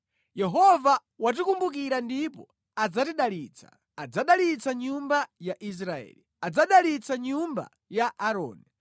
Yehova watikumbukira ndipo adzatidalitsa: adzadalitsa nyumba ya Israeli, adzadalitsa nyumba ya Aaroni,